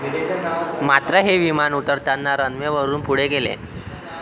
मात्र, हे विमान उतरताना रनवेवरून पुढे गेले.